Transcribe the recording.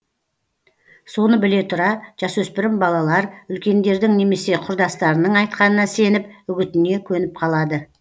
соны біле тұра жасөспірім балалар үлкендердің немесе құрдастарының айтқанына сеніп үгітіне көніп қалады